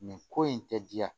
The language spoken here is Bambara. Nin ko in tɛ diya